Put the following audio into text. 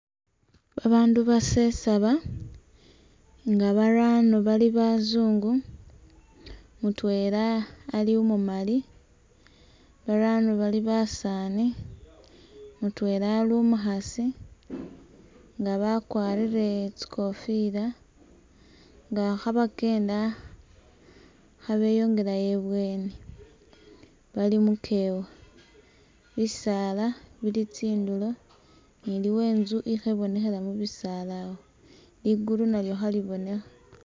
Babandu basesaba, nga barano bali bazungu, mutwela ali umumali, barano bali basaani, mutwela ali umukhasi nga bakwarire tsikofila nga kha bakyenda kha beyongelayo ibweni bali mukewa, bisaala bili tsindulo ni iliwo inzu ikhebonekhela mubisaala awo, ligulu nalyo khalibonekha.